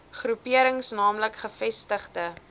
groeperings naamlik gevestigde